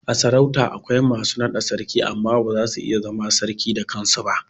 A sarauta akwai masu naɗa Sarki amma ba zasu iya zama sarki da kansu ba